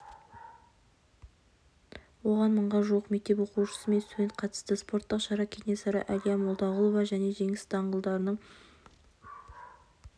оған мыңға жуық мектеп оқушысы мен студент қатысты спорттық шара кенесары әлия молдағұлова және жеңіс даңғылдарының